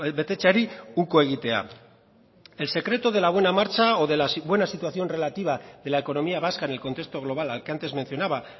betetzeari uko egitea el secreto de la buena marcha o de la buena situación relativa de la economía vasca en el contexto global al que antes mencionaba